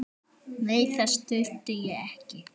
Nei, þess þurfti ég ekki.